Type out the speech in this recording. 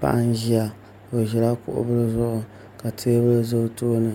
Paɣa n ʒiya o ʒila kuɣu bili zuɣu ka teebuli ʒɛ o tooni